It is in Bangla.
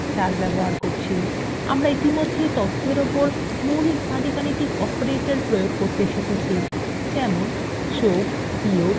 আমরা ইতিমধ্যেই মৌলিক পাটীগণিত অপারেটরদের প্রযোগ করতে শিখেছি যেমন তথ্য যোগ বিয়োগ এবং গড়